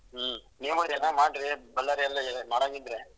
ಹ್ಮ್ ನೀವು ಏನಾದ್ರೂ ಮಾಡಿ ಬಳ್ಳಾರಿ ಅಲ್ಲಿ ಏನಾದ್ರು ಮಾಡಂಗಿದ್ರೆ.